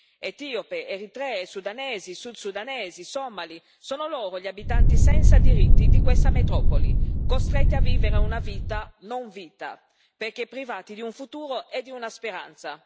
Etiopi, eritrei, sudanesi, sud sudanesi, somali, sono loro gli abitanti senza diritti di questa metropoli, costretti a vivere una vita non vita, perché privati di un futuro e di una speranza.